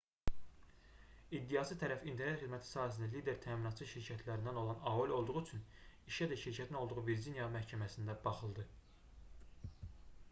i̇ddiaçı tərəf internet xidməti sahəsində lider təminatçı şirkətlərindən olan aol olduğu üçün işə də şirkətin olduğu virciniya məhkəməsində baxıldı